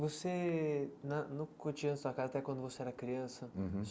Você nã não podia tocar até quando você era criança? Uhum